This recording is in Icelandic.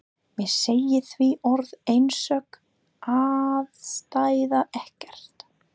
Mér segir því orð einsog ástæða ekkert.